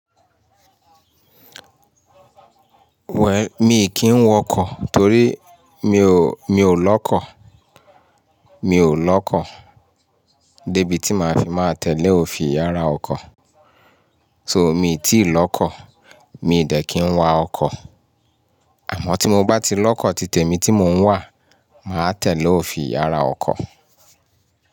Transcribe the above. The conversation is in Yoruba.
Wẹ̀ll, mi kì í wọn ọkọ̀ torí mi ò, mi ò lọ́kọ̀, mi ò lọ́kọ̀ débi tí màá fi máa tẹ̀lé òfin yàrá ọkọ̀. So mi ò tíì lọ́kọ̀, mi ò dẹ́ kí ń wa ọkọ̀. Àmọ́ tí mo bá ti lọ́kọ̀ títemi tí mò ń wà, màá tẹ̀lé òfin yàrá ọkọ̀